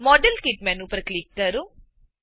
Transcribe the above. model kit menu પર click કરો